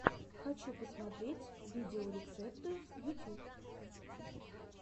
хочу посмотреть видеорецепты ютьюб